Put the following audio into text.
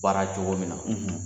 Baara cogo min na